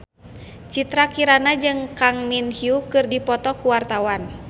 Citra Kirana jeung Kang Min Hyuk keur dipoto ku wartawan